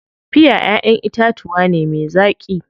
Piya ƴaʼƴen itatuwa ne me zaƙi.